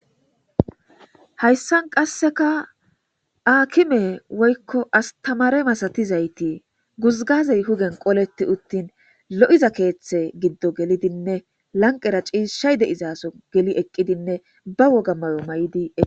Hayssan qasseka aakime woykko astamare masatizayti guzgazey hugen qoleti uttin lo'iza keeththe giddo gelidinne lanqqera ciishay de'izaso geli eqqidinne ba woga mayo may'di ee